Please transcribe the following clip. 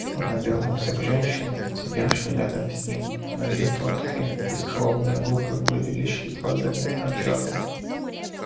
он обернулся к женщине сидевшей рядом с ним но её тонкие бескровные губы были лишь едва заметно сжаты